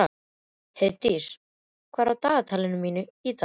Heiðdís, hvað er í dagatalinu mínu í dag?